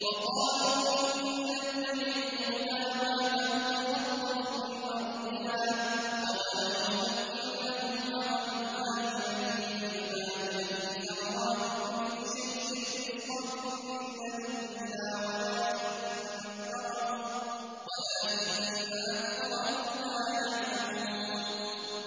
وَقَالُوا إِن نَّتَّبِعِ الْهُدَىٰ مَعَكَ نُتَخَطَّفْ مِنْ أَرْضِنَا ۚ أَوَلَمْ نُمَكِّن لَّهُمْ حَرَمًا آمِنًا يُجْبَىٰ إِلَيْهِ ثَمَرَاتُ كُلِّ شَيْءٍ رِّزْقًا مِّن لَّدُنَّا وَلَٰكِنَّ أَكْثَرَهُمْ لَا يَعْلَمُونَ